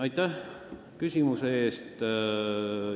Aitäh küsimuse eest!